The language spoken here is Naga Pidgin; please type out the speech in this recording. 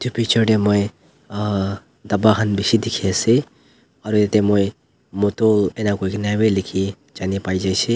picture te moi aa dapba khan bisi dekhi ase aru jatte moi motu eni gka koi kina lekhi jani pai jaise.